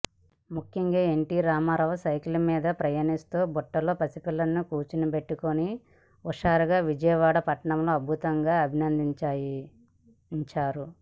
ముఖ్యంగా NT Ramarao cycle మీద పయనిస్తూ బుట్టలో పసిపిల్లాడిని కూర్చోబెట్టి హుషారుగా విజయవాడ పట్టణంలో అద్భుతంగా అభినయించారు